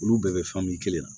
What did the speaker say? Olu bɛɛ bɛ fɛn min kelen na